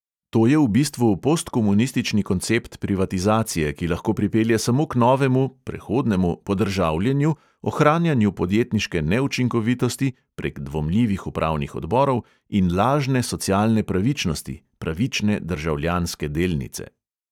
To je v bistvu postkomunistični koncept privatizacije, ki lahko pripelje samo k novemu (prehodnemu?!) podržavljenju, ohranjanju podjetniške neučinkovitosti (prek "dvomljivih upravnih odborov") in lažne socialne pravičnosti ("pravične državljanske delnice").